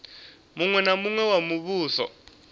muṅwe na muṅwe wa muvhuso